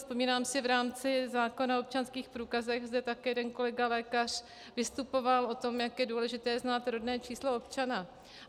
Vzpomínám si, v rámci zákona o občanských průkazech zde také jeden kolega, lékař, vystupoval o tom, jak je důležité znát rodné číslo občana.